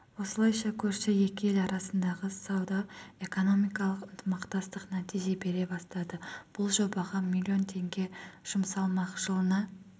осылайша көрші екі ел арасындағы сауда-экономикалық ынтымақтастық нәтиже бере бастады бұл жобаға миллион теңге жұмсалмақ жылына